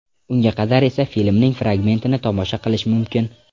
Unga qadar esa filmning fragmentini tomosha qilish mumkin.